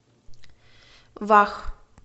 вах